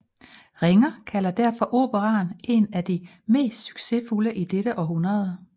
Ringer kalder derfor operaen en af de mest succesfulde i det århundrede